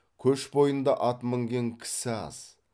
көш бойында ат мінген кісі аз